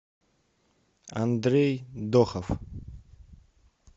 андрей дохов